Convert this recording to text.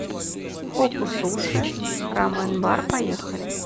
хокку суши рамен бар поехали